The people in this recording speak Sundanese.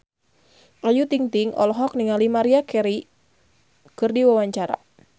Ayu Ting-ting olohok ningali Maria Carey keur diwawancara